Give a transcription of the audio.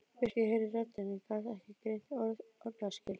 Birkir heyrði raddir en gat ekki greint orðaskil.